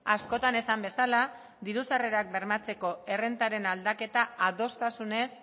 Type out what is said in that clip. askotan esan bezala diru sarrerak bermatzeko errentaren aldaketa adostasunez